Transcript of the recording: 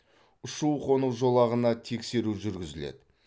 ұшу қону жолағына тексеру жүргізіледі